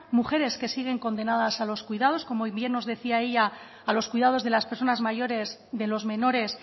mujeres que siguen condenadas a los cuidados como bien nos decía ella a los cuidados de las personas mayores de los menores